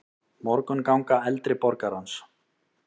Morgunganga eldri borgarans.